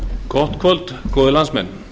gott kvöld góðir landsmenn